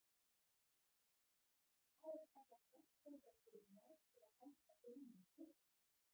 Þar er varla þverfótað fyrir margra alda gömlum tóftum.